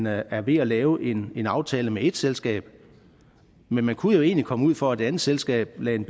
er er ved at lave en en aftale med et selskab men man kunne jo egentlig komme ud for at et andet selskab lagde en